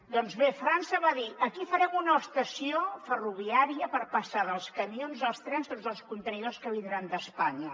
doncs bé frança va dir aquí farem una estació ferroviària per passar dels camions als trens tots els contenidors que vindran d’espanya